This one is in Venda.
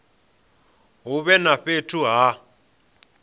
hu vhe na fhethu ha